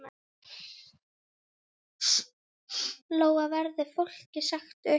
Lóa: Verður fólki sagt upp?